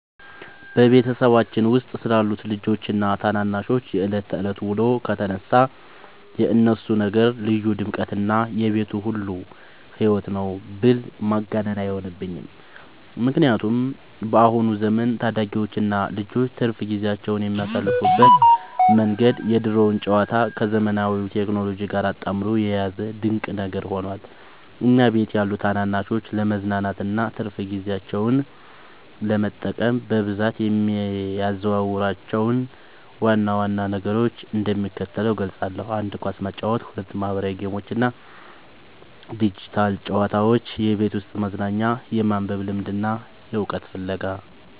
በቤተሰባችን ውስጥ ስላሉት ልጆችና ታናናሾች የዕለት ተዕለት ውሎ ከተነሳ፣ የእነሱ ነገር ልዩ ድምቀትና የቤቱ ሁሉ ሕይወት ነው ብል ማጋነን አይሆንብኝም። በአሁኑ ዘመን ታዳጊዎችና ልጆች ትርፍ ጊዜያቸውን የሚያሳልፉበት መንገድ የድሮውን ጨዋታ ከዘመናዊው ቴክኖሎጂ ጋር አጣምሮ የያዘ ድንቅ ነገር ሆኗል። እኛ ቤት ያሉ ታናናሾች ለመዝናናትና ትርፍ ጊዜያቸውን ለመጠቀም በብዛት የሚያዘወትሯቸውን ዋና ዋና ነገሮች እንደሚከተለው እገልጻለሁ፦ 1. ኳስ መጫወት 2. ማኅበራዊ ጌሞችና ዲጂታል ጨዋታዎች (የቤት ውስጥ መዝናኛ) 3. የማንበብ ልምድና የዕውቀት ፍለጋ